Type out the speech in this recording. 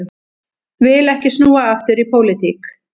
Vill ekki snúa aftur í pólitík